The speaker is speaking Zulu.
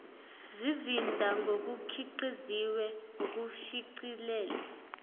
zizinda ngokukhiqiziwe nokushicilelwe